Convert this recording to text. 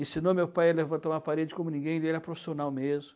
Ensinou meu pai a levantar uma parede como ninguém, ele era profissional mesmo.